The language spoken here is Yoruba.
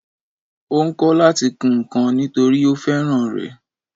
Ó ń kọ́ láti kun ǹkan nítòrí ó fẹ́ràn rẹ̀